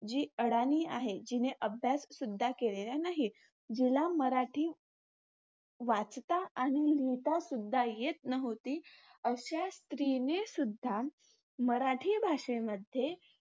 जी अडाणी आहे, जीने अभ्याससुद्धा केलेला नाही. जिला मराठी वाचता आणि लिहितासुद्धा येत नव्हते. अशा स्त्रीनेसुद्धा मराठी भाषेमध्ये